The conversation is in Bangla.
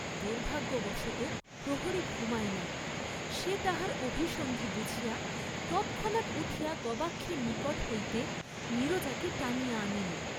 দুর্ভাগ্যবশতঃ প্রহরী ঘুমায় নাই; সে তাহার অভিসন্ধি বুঝিয়া তৎক্ষণাৎ উঠিয়া গবাক্ষের নিকট হইতে নীরজাকে টানিয়া আনিল।